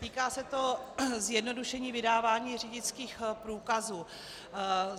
Týká se to zjednodušení vydávání řidičských průkazů.